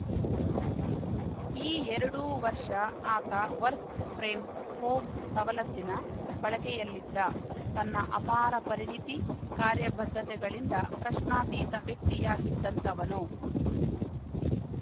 ಈ ಎರಡೂ ವರ್ಷ ಆತ ವರ್ಕ್ ಫ್ರೆಮ್‌ ಹೋಮ್‌ ಸವಲತ್ತಿನ ಬಳಕೆಯಲ್ಲಿದ್ದ ತನ್ನ ಅಪಾರ ಪರಿಣಿತಿ ಕಾರ್ಯ ಬದ್ಧತೆಗಳಿಂದ ಪ್ರಶ್ನಾತೀತ ವ್ಯಕ್ತಿಯಾಗಿದ್ದಂತವನು